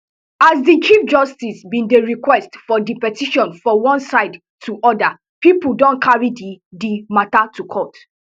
as di chief justice bin dey request for di petition for one side two oda pipo don carry di di matter to court